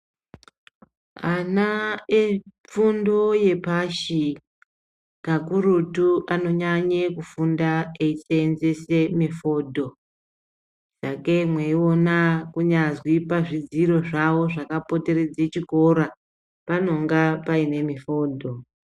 Ana epfundo yepashi, kakurutu anonyanye kufunda eyiseyenzese mifodho, kakeyi mweyiona kunyazwi pazvidziro zvavo zvakapoteredze chikora panonga payine mifodho.